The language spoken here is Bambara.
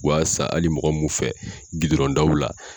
U b'a san hali mɔgɔ mun fɛ gidɔrɔn daw la.